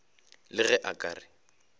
le ge a ka re